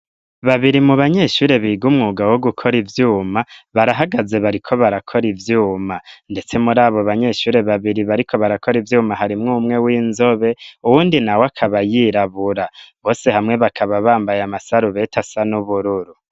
Babiri mu banyeshure biga umwuga wo gukora ivyuma barahagaze bariko barakora ivyuma ndetse muri abo banyeshure babiri bariko barakora ivyuma hari mw umwe w'inzobe uwundi nawe akaba yirabura bose hamwe bakaba bambaye amasarubeti asa n'ubururu.